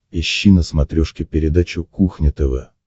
ищи на смотрешке передачу кухня тв